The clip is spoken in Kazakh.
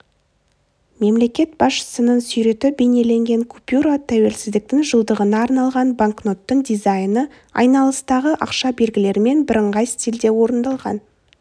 мемлекет басшысының суреті бейнеленген купюра тәуелсіздіктің жылдығына арналған банкноттың дизайны айналыстағы ақша белгілерімен бірыңғай стильде орындалған